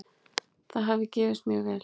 Það hafi gefist mjög vel.